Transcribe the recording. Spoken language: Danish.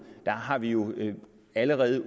har vi jo allerede